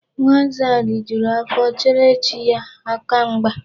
Nwa nza lijuru afọ cheere chi ya aka mgba.